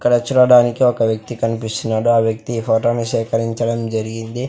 ఇక్కడ చూడడానికి ఒక వ్యక్తి కనిపిస్తున్నాడు ఆ వ్యక్తి ఈ ఫోటో ని సేకరించడం జరిగింది.